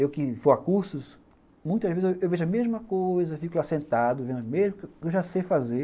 Eu que vou a cursos, muitas vezes eu vejo a mesma coisa, fico lá sentado vendo o mesmo que eu já sei fazer.